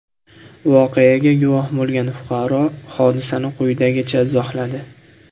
Voqeaga guvoh bo‘lgan fuqaro hodisani quyidagicha izohladi.